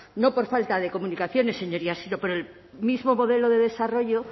no por falta de comunicaciones señorías sino por el mismo modelo de desarrollo